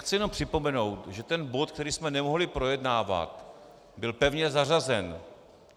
Chci jenom připomenout, že ten bod, který jsme nemohli projednávat, byl pevně zařazen.